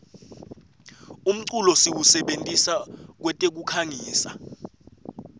umculo siwusebentisa kwetekukhangisa